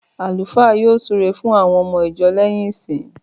Àlúfáà yóò súre fún àwon omo ìjo léyìn ìsin